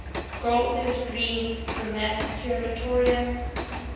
golders green crematorium